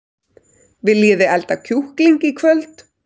Viljiði elda kjúkling í kvöld?